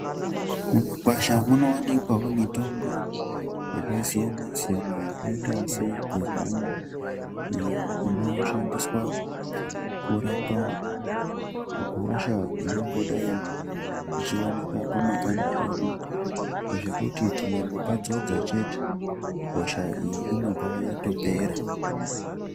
Mumakwasha munowanikwa wo mitombo yakasiyana-siyana yakaita segehlani iyo ino shandiswa kurapa hosha ingangodai ichiwanika pamakanda edu zvekuti tikango padzodza chete hosha iyi inobva yatopera.